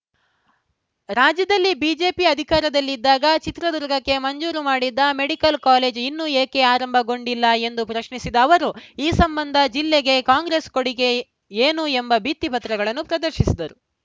ರಾಜ್ಯದಲ್ಲಿ ಬಿಜೆಪಿ ಅಧಿಕಾರದಲ್ಲಿದ್ದಾಗ ಚಿತ್ರದುರ್ಗಕ್ಕೆ ಮಂಜೂರು ಮಾಡಿದ್ದ ಮೆಡಿಕಲ್‌ ಕಾಲೇಜು ಇನ್ನೂ ಏಕೆ ಆರಂಭಗೊಂಡಿಲ್ಲ ಎಂದು ಪ್ರಶ್ನಿಸಿದ ಅವರು ಈ ಸಂಬಂಧ ಜಿಲ್ಲೆಗೆ ಕಾಂಗ್ರೆಸ್‌ ಕೊಡುಗೆ ಏ ಏನು ಎಂಬ ಬಿತ್ತಿ ಪತ್ರಗಳನ್ನು ಪ್ರದರ್ಶಿಸಿದರು